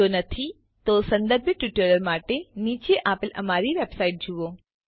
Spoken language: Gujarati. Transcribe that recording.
જો નથી તો સંદર્ભીત ટ્યુટોરીયલો માટે નીચે આપેલ અમારી વેબસાઈટ જુઓ